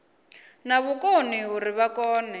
na vhukoni uri vha kone